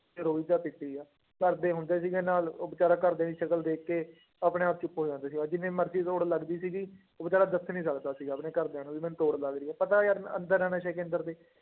ਕਿ ਰੋਈ ਜਾ ਪਿੱਟੀ ਜਾ, ਘਰਦੇ ਹੁੰਦੇ ਸੀਗੇ ਨਾਲ ਉਹ ਬੇਚਾਰਾ ਘਰਦਿਆਂ ਦੀ ਸ਼ਕਲ ਦੇਖ ਕੇ ਆਪਣੇ ਆਪ ਚ ਖੋ ਜਾਂਦਾ ਸੀਗਾ, ਜਿੰਨੀ ਮਰਜ਼ੀ ਤੋੜ ਲੱਗਦੀ ਸੀਗੀ ਉਹ ਬੇਚਾਰਾ ਦੱਸ ਨੀ ਸਕਦਾ ਸੀਗਾ ਆਪਣੇ ਘਰਦਿਆਂ ਨੂੰ ਵੀ ਮੈਨੂੰ ਤੋੜ ਲੱਗ ਰਹੀ ਹੈ ਪਤਾ ਯਾਰ ਮੈਂ ਅੰਦਰ ਹਾਂ ਨਸ਼ੇ ਕੇਂਦਰ ਦੇ।